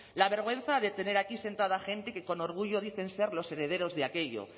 la vergüenza de tener aquí sentada a gente que con orgullo dicen ser los herederos de aquello